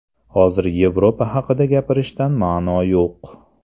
Hozir Yevropa haqida gapirishdan ma’no yo‘q.